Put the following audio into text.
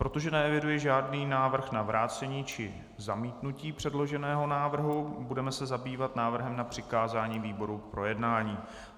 Protože neeviduji žádný návrh na vrácení či zamítnutí předloženého návrhu, budeme se zabývat návrhem na přikázání výboru k projednání.